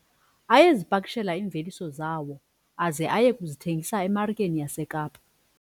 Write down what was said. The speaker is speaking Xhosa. Ayezipakishela iimveliso zawo aze aye kuzithengisa emarikeni yaseKapa.